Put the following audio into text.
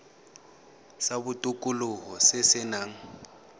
sa botokololo se se nang